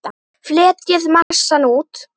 Fletjið massann út.